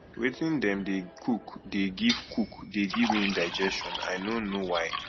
wetin dem dey cook dey give cook dey give me indigestion i no know why